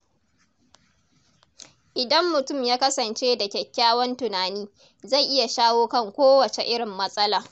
Idan mutum ya kasance da kyakkyawan tunani, zai iya shawo kan kowacce irin matsala.